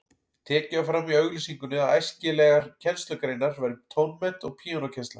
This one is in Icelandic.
Tekið var fram í auglýsingunni að æskilegar kennslugreinar væru tónmennt og píanókennsla.